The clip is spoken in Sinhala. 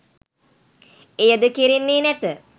එයද කෙරෙන්නේ නැත.